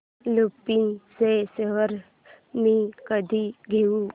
लुपिन चे शेअर्स मी कधी घेऊ